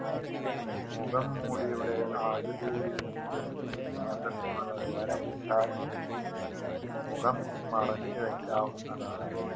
മുഖംമൂടിയുടെ ആകൃതിയിൽ മുറിച് ശ്യാസത്തിനുള്ള ദ്വാരം ഉണ്ടാക്കി മുഖം മറച്ചുവെക്കാവുന്നതാണ്